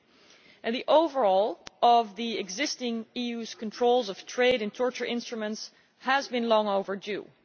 3. The overhaul of the existing EU controls of trade in torture instruments has been long overdue.